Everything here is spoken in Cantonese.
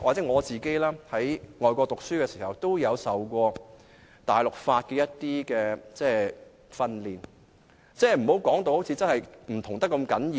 我在外國讀書時，也曾接受一些大陸法的訓練，所以不要把兩個法制說得那麼不同。